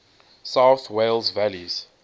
south wales valleys